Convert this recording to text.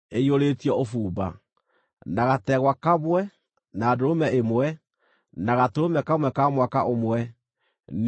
na gategwa kamwe, na ndũrũme ĩmwe, na gatũrũme kamwe ka mwaka ũmwe, nĩ ũndũ wa iruta rĩa njino;